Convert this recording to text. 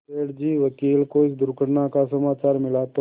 सेठ जी वकील को इस दुर्घटना का समाचार मिला तो